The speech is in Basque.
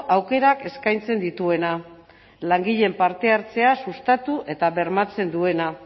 aukerak eskaintzen dituena langileen parte hartzea sustatu eta bermatzen duena